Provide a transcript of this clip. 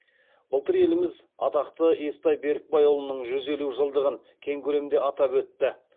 былтыр еліміз атақты естай беркімбайұлының жүз елу жылдығын кең көлемде атап өтті